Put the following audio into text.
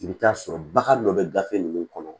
I bɛ taa sɔrɔ bagan dɔ bɛ gafe ninnu kɔnɔ